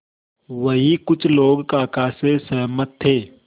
वहीं कुछ लोग काका से सहमत थे